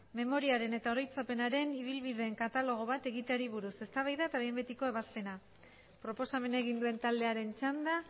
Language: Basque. memoriaren eta oroitzapenaren ibilbideen katalogo bat egiteari buruz eztabaida eta behin betiko ebazpena proposamena egin duen taldearen txanda